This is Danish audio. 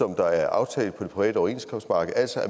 der er aftalt på det private overenskomstmarked at